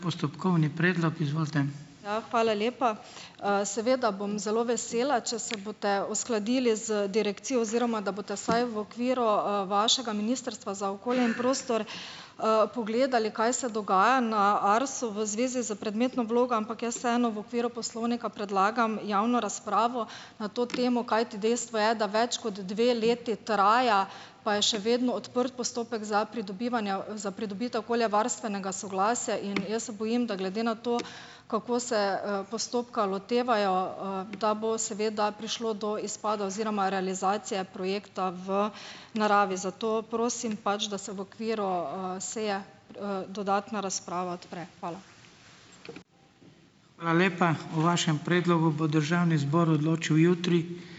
Ja, hvala lepa. Seveda bom zelo vesela, če se boste uskladili z direkcijo oziroma da boste vsaj v okviru, vašega ministrstva za okolje in prostor, pogledali, kaj se dogaja na Arsu v zvezi s predmetno vlogo, ampak jaz vseeno v okviru poslovnika predlagam javno razpravo na to temo, kajti dejstvo je, da več kot dve leti traja, pa je še vedno odprt postopek za pridobivanja, za pridobitev okoljevarstvenega soglasja in jaz se bojim, da glede na to, kako se, postopka lotevajo, da bo seveda prišlo do izpada oziroma realizacije projekta v naravi, zato prosim, pač da se v okviru, seje, dodatna razprava odpre. Hvala.